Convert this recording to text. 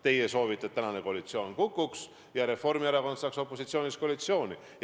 Teie soovite, et koalitsioon kukuks ja Reformierakond pääseks opositsioonist koalitsiooni.